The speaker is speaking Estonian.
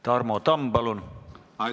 Tarmo Tamm, palun!